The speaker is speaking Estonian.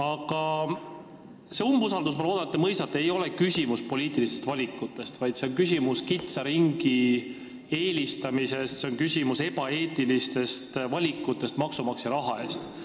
Aga see umbusaldusavaldus – ma loodan, et te seda mõistate – ei ole küsimus poliitilistest valikutest, vaid see on küsimus kitsa ringi eelistamisest, see on küsimus ebaeetilistest valikutest maksumaksja raha eest.